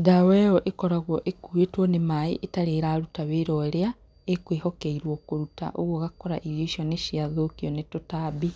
ndawa ĩyo ĩkoragwo ĩkuĩtwo nĩ maĩ itarĩ ĩraruta wĩra ũrĩa ĩkwĩhokeirwo kũruta ũguo ũgakora irio icio nĩciathũkio nĩ tũtambi.